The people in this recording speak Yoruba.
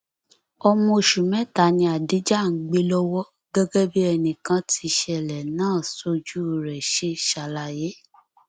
ọmọ oṣù mẹta ni adija ń gbé lọwọ gẹgẹ bí ẹnìkan tíṣẹlẹ náà sójú rẹ ṣe ṣàlàyé